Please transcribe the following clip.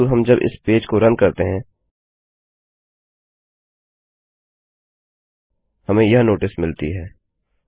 किन्तु हम जब इस पेज को रन करते हैं हमें यह नोटिस मिलती है